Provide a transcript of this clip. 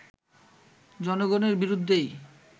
জনগণের বিরুদ্ধেই